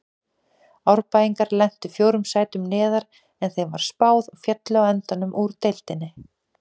Árbæingar lentu fjórum sætum neðar en þeim var spáð og féllu á endanum úr deildinni.